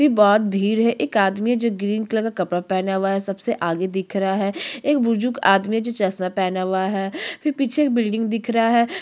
फिर बहोत भीड़ है एक आदमी है जो ग्रीन कलर का कपड़ा पहना हुआ है सबसे आगे दिख रहा है एक बुजुर्ग आदमी है जो चसमा पहना हुआ है फिर पीछे एक बिलडिंग दिख रहा हैं।